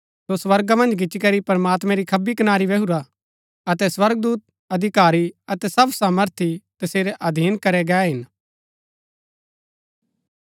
सो स्वर्गा मन्ज गिच्ची करी प्रमात्मैं री खब्बी कनारी बैही गच्छुरा अतै स्वर्गदूत अधिकारी अतै सब सामर्थी तसेरै अधीन करै गै हिन